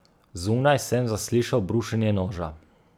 Zunaj sem zaslišal brušenje noža.